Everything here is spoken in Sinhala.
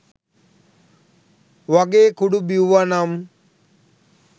වගේ කුඩු බිව්වනම්